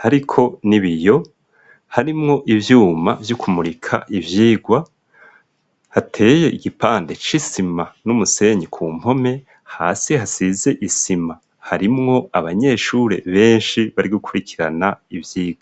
hariko ni biyo harimwo ivyuma vy'ukumurika ivyirwa hateye igipande c'isima n'umusenyi ku mpome hasi hae size isima harimwo abanyeshure benshi bari gukurikirana ivyigo.